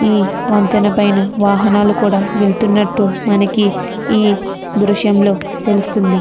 ఈ వంతెన పైన వాహనాలు వెలత్తునట్టు మనకి ఈ దృశ్యం లో తెలుస్తుంది.